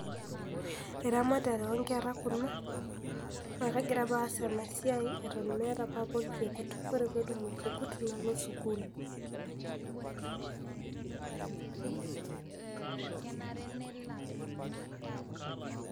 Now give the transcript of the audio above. Eramatare onkeraa kuna naa kagira apa aas ana siai eton meeta papa elchekuut. Kore peetum ilcheekut nuloo sukuul.